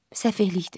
Səfehlikdir.